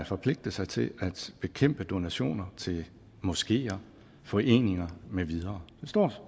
forpligtet sig til at bekæmpe donationer til moskeer foreninger med videre det står